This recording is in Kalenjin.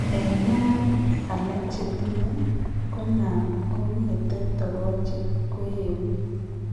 En neranik alak chetinye , ko nan kongete togochik koegu